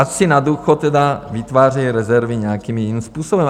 Ať si na důchod tedy vytvářejí rezervy nějakým jiným způsobem.